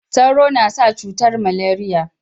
Sauro na sa cutar maleriya